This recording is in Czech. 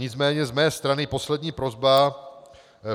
Nicméně z mé strany poslední prosba.